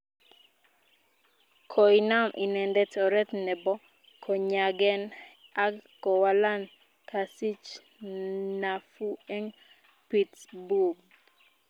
Koinam inendet oret nebo konyagen ag kowalak kosich nafuu en Pittsburgh.